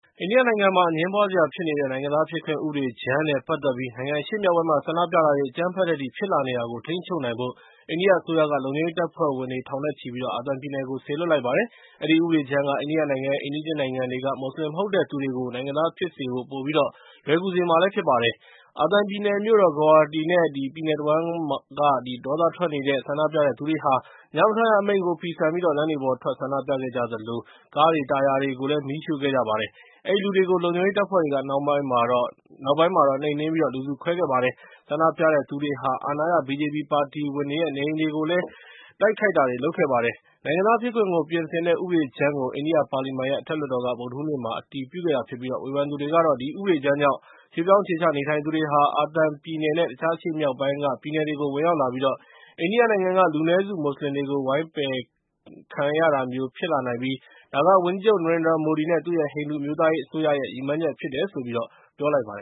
အိန္ဒိယနိုင်ငံမှာ အငြင်းပွားစရာဖြစ်နေတဲ့ နိုင်ငံသားဖြစ်ခွင့် ဥပဒေကြမ်းနဲ့ ပတ်သက်ပြီး နိုင်ငံအရှေ့မြောက်ပိုင်းမှာ ဆန္ဒပြတာတွေ အကြမ်းဖက်တဲ့အထိ ဖြစ်လာနေတာကို ထိန်းချုပ်နိုင်ဖို့ အိန္ဒိယအစိုးရက လုံခြုံရေး တပ်ဖွဲ့ဝင် ထောင်နဲ့ချီပြီး အာသံပြည်နယ်ကို စေလွှတ်လိုက်ပါတယ်။ အဲဒီ ဥပဒေကြမ်းက အိန္ဒိယနိုင်ငံရဲ့ အိမ်နီးချင်းနိုင်ငံတွေက မွတ်စလင် မဟုတ်တဲ့သူတွေကို နိုင်ငံသားဖြစ်စေဖို့ ပိုပြီးတော့ လွယ်ကူစေမှာဖြစ်ပါတယ်။ အာသံပြည်နယ် မြို့တော် Guwahati နဲ့ ပြည်နယ် တဝှမ်းက ဒေါသထွက်နေတဲ့ ဆန္ဒပြတဲ့သူတွေဟာ ညမထွက်ရ အမိန့်ကို ဖီဆန်ပြီး လမ်းတွေပေါ်ထွက် ဆန္ဒပြခဲ့ကြသလို၊ ကားတွေ၊ တာယာတွေကို မီးရှို့ခဲ့ကြပါတယ်။ အဲဒီလူတွေကို လုံခြုံရေးတပ်ဖွဲ့တွေက နောက်ပိုင်းမှာ နှိမ်နှင်းပြီး လူစု ခွဲခဲ့ပါတယ်။ ဆန္ဒပြတဲ့သူတွေဟာ အာဏာရ BJP ပါတီဝင်တွေရဲ့ နေအိမ်တွေကိုလည်း တိုက်ခိုက်ခဲ့ကြပါတယ်။ နိုင်ငံသားဖြစ်ခွင့်ကို ပြင်ဆင်တဲ့ ဥပဒေကြမ်းကို အိန္ဒိယပါလီမန်ရဲ့ အထက်လွှတ်တော်က ဗုဒ္ဓဟူးနေ့မှာ အတည်ပြုခဲ့တာဖြစ်ပြီး ဝေဖန်သူတွေကတော့ ဒီဥပဒေကြမ်းကြောင့် ရွှေ့ပြောင်း အခြေချနေထိုင်သူတွေဟာ အာသံပြည်နယ်နဲ့ တခြားအရှေ့မြောက်ပိုင်းက ပြည်နယ်တွေကို ဝင်ရောက်လာပြီးတော့ အိန္ဒိယနိုင်ငံက လူနည်းစုမွတ်စလင်တွေကို ဝိုင်းပယ်ခံရတာမျိုးဖြစ်လာနိုင်ပြီး ဒါက ဝန်ကြီးချုပ် နရင်ဒရာမိုဒီ နဲ့ သူ့ရဲ့ ဟိန္ဒိူအမျိုးသားရေး အစိုးရရဲ့ ရည်မှန်းချက်ဖြစ်တယ်လို့ ပြောကြားလိုက်ပါတယ